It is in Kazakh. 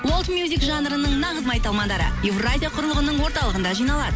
жанрының нағыз майталмандары евразия құрылғының орталығында жиналады